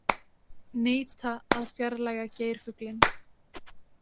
Neita að fjarlægja geirfuglinn